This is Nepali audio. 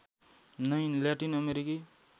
नै ल्याटिन अमेरिकी